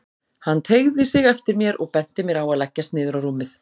Hann teygði sig eftir mér og benti mér að leggjast niður á rúmið.